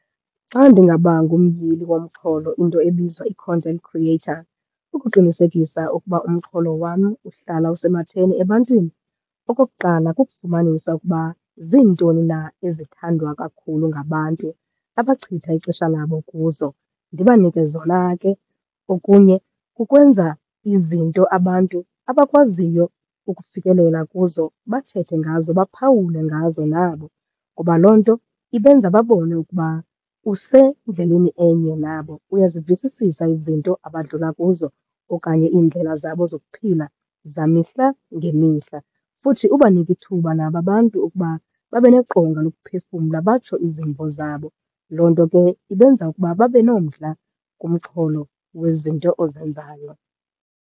Xa ndingaba ngumyili womxholo, into ebizwa i-content creator, ukuqinisekisa ukuba umxholo wam uhlala usematheni ebantwini. Okokuqala kukufumanisa ukuba ziintoni na ezithandwa kakhulu ngabantu, abachitha ixesha labo kuzo, ndibanike zona ke. Okunye kukwenza izinto abantu abakwaziyo ukufikelela kuzo, bathethe ngazo, baphawule ngazo nabo kuba loo nto ibenza babone ukuba usendleleni enye nabo, uyazivisisisa izinto abadlula kuzo okanye iindlela zabo zokuphila zamihla ngemihla. Futhi ubanike ithuba nabo abantu ukuba babe neqonga lokuphefumla, batsho izimvo zabo. Loo nto ke ibenza ukuba babe nomdla kumxholo wezinto ozenzayo.